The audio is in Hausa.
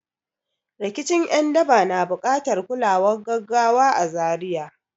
Rikicin ’yan daba na buƙatar kulawar gaggawa a Zaria.